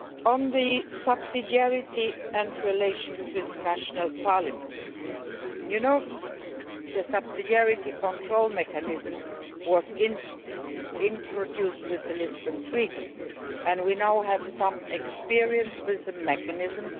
On subsidiarity and relations with national parliaments, you know the subsidiarity control mechanism was introduced with the Lisbon Treaty and we now have some experience with the mechanism.